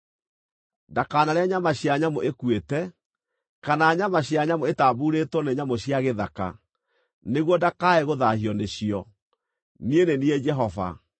Ndakanarĩe nyama cia nyamũ ĩkuĩte, kana nyama cia nyamũ ĩtambuurĩtwo nĩ nyamũ cia gĩthaka, nĩguo ndakae gũthaahio nĩcio. Niĩ nĩ niĩ Jehova.